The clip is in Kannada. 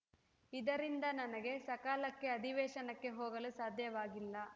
ಇದರಿಂದ ನನಗೆ ಸಕಾಲಕ್ಕೆ ಅಧಿವೇಶನಕ್ಕೆ ಹೋಗಲು ಸಾಧ್ಯವಾಗಿಲ್ಲ